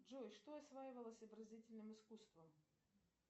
джой что осваивалось изобразительным искусством